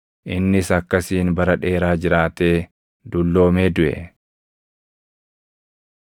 Innis akkasiin bara dheeraa jiraatee dulloomee duʼe.